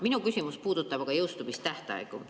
Minu küsimus puudutab aga jõustumistähtaegu.